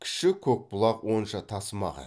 кіші көкбұлақ онша тасымаған